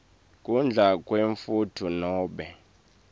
kudla kwemfuyo nobe